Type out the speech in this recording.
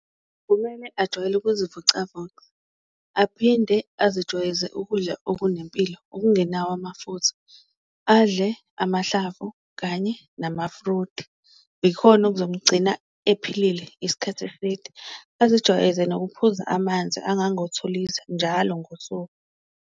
Kumele ajwayele ukuzivocavoca, aphinde azijwayeze ukudla okunempilo, okungenawo amafutha, adle amahlavu kanye nama-fruit, ikhona okuzomgcina ephilile ngesikhathi eside. Bazijwayeze nokuphuza amanzi angango-two litre njalo ngosuku.